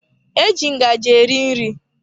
Eji ngaji eri nri.